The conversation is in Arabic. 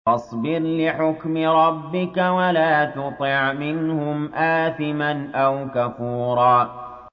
فَاصْبِرْ لِحُكْمِ رَبِّكَ وَلَا تُطِعْ مِنْهُمْ آثِمًا أَوْ كَفُورًا